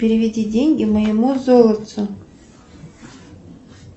переведи деньги моему золотцу